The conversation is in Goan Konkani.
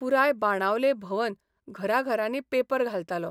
पुराय बाणावले भवन घराघरांनी पेपर घालतालो.